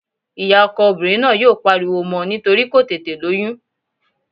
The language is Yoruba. Ìyá ọkọ obìnrin náà yóò pariwo mọ́ nítorí kò tètè lóyún